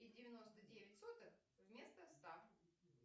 и девяносто девять сотых вместо ста